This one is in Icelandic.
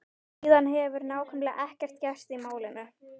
Síðan hefur nákvæmlega ekkert gerst í málinu.